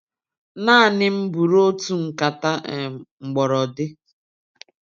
Naanị m buru otu nkata um mgbọrọdi.